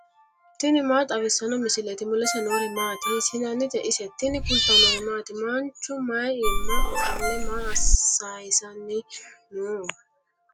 tini maa xawissanno misileeti ? mulese noori maati ? hiissinannite ise ? tini kultannori maati? Manchu mayi mine offolle maa saayisanni noo?